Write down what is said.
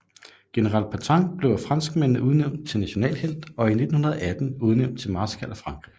General Pétain blev af franskmændene udnævnt til nationalhelt og i 1918 udnævnt til marskal af Frankrig